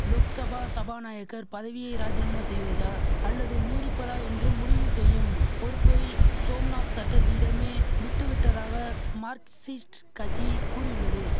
லோக்சபா சபாநாயகர் பதவியை ராஜினாமா செய்வதா அல்லது நீடிப்பதா என்று முடிவு செய்யும் பொறுப்பை சோம்நாத் சட்டர்ஜியிடமே விட்டுவிட்டதாக மார்க்சிஸ்ட் கட்சி கூறியுள்ளது